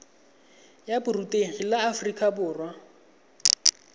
ya borutegi la aforika borwa